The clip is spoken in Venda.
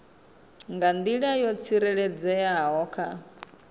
nga nḓila yo tsireledzeaho kha